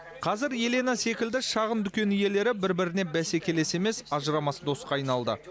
қазір елена секілді шағын дүкен иелері бір біріне бәсекелес емес ажырамас досқа айналды